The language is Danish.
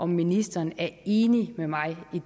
ministeren er enig med mig i